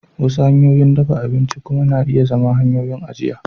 Wasu hanyoyin dafa abinci kuma na iya zama hanyoyin ajiya